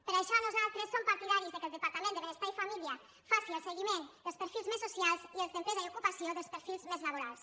per això nosaltres som partidaris que el departament de benestar i família faci el seguiment dels perfils més socials i el d’empresa i ocupació el dels perfils més laborals